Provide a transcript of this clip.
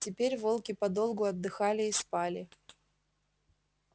теперь волки подолгу отдыхали и спали